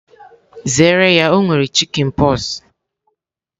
Zere ya o nwere chikinpoksi!